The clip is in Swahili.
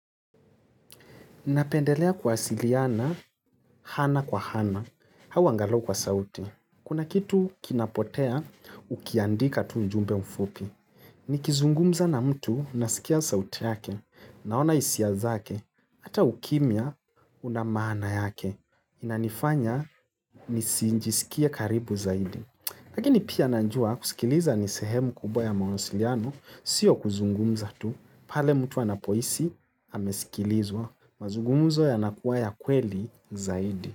Napendelea kuwasiliana, ana kwa ana, au angalau kwa sauti. Kuna kitu kinapotea, ukiandika tu ujumbe mfupi. Nikizungumza na mtu, nasikia sauti yake, naona hisia zake, hata ukimya, una maana yake. Inanifanya, nisijisikie karibu zaidi. Lakini pia najua, kusikiliza nisehemu kubwa ya mawasiliano, sio kuzungumza tu. Pale mtu anapohisi amesikilizwa mazungumzo yanakuwa ya kweli zaidi.